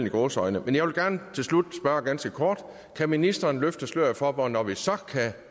i gåseøjne jeg vil gerne til slut spørge ganske kort kan ministeren løfte sløret for hvornår vi så kan